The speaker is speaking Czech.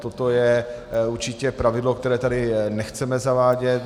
Toto je určitě pravidlo, které tady nechceme zavádět.